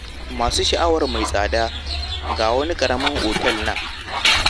Masu sha'awar mai tsada ga wani ƙaramin otel a nan.